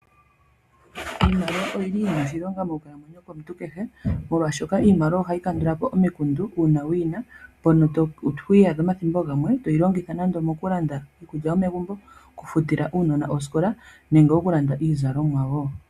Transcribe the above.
Iimaliwa oyili yina oshilonga mokukalamwenyo komuntu kehe, molwashoka iimaliwa ohayi kandulapo omikundu uuna wuyina mpono to iyadha omathimbo gamwe toyi longitha nande okulanda iikulya yomegumbo, okufutila uunona osikola nenge okulanda iizalomwa.